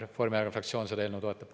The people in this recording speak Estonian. Reformierakonna fraktsioon seda toetab.